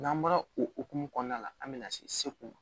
N'an bɔra o hokumu kɔnɔna la an bɛ na se ko ma